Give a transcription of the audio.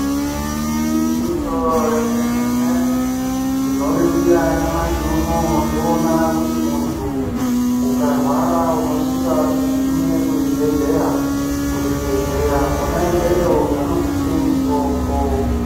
Igwinyiso remenemene tinoringirira nyamashi unoo toona kuti muntu ukarwara unosisa kugume kuzhibhehleya, kuchibhehleya kona ikweyo vanokupe mutombo.